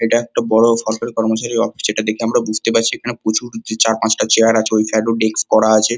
এটা একটা বড় সরকারি কর্মচারীর অফিস । যেটা দেখে আমরা বুঝতে পারছি এখানে প্রচুর চার পাঁচটা চেয়ার আছে ওই সাইড এ ও ডেস্ক করা আছে।